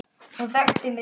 Hún þekkti mig strax.